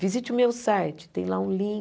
Visite o meu site, tem lá um